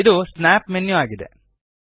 ಇದು snap menu ಆಗಿದೆ